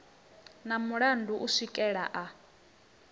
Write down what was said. na mulandu u swikela a